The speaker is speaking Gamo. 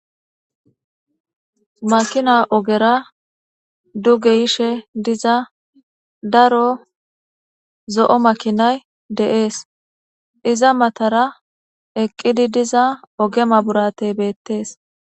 Makina ogera duge yishe diza daro zo'o makinayi de'es, iza matara eqid diza oge mabiratey betes.